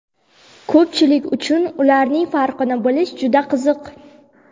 Ko‘pchilik uchun ularning farqini bilish juda qiziq.